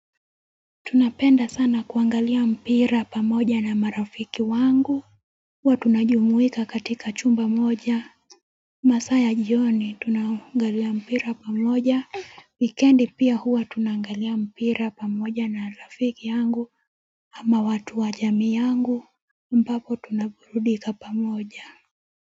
Tunapenda sana kuangalia mpira pamoja na marafiki wangu, huwa tunajumuika katika chumba moja. Masaa ya jioni tunaangalia mpira pamoja, wikendi pia huwa tunaangalia mpira pamoja na rafiki yangu ama watu wa jamii yangu, ambapo tunaburudika pamoja.